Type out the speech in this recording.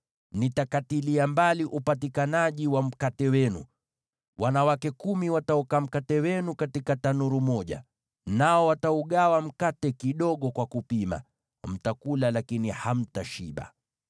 Nitakapowaondolea upatikanaji wa mkate wenu, wanawake kumi wataoka mkate wenu katika tanuru moja, nao wataugawa mkate kidogo kwa kupima. Mtakula, lakini hamtashiba.